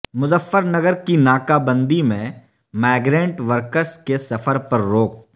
مظفر نگر کی ناکہ بندی میں مائیگرینٹ ورکرس کے سفر پر روک